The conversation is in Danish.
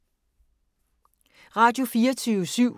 Radio24syv